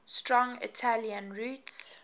strong italian roots